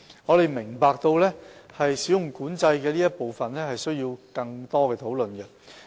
我們明白有關"使用管制"的部分需要更多討論。